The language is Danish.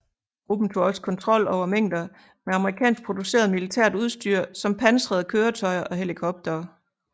Gruppen tog også kontrol over mængder med amerikansk produceret militært udstyr som pansrede køretøjer og helikoptere